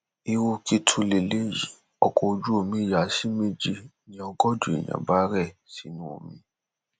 irú kí tún lélẹyìí ọkọ ojú omi ya sí méjì ni ọgọjọ èèyàn bá rẹ sínú omi